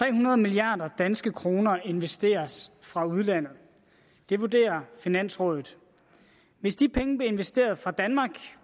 tre hundrede milliarder danske kroner investeres fra udlandet det vurderer finansrådet hvis de penge blev investeret fra danmark